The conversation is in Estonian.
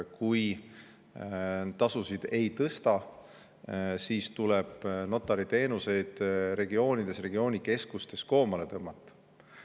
Kui tasusid ei tõsta, siis tuleb notariteenuseid regioonides, regioonikeskustes koomale tõmmata.